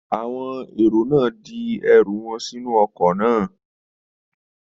Àwọn èrò náà di ẹrù wọn sínú ọkọ̀ náà